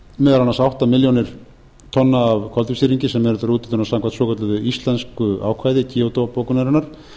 meðal annars átta milljónir tonna af koltvísýringi sem eru til úthlutunar samkvæmt svokölluðu íslensku ákvæði kyoto bókunarinnar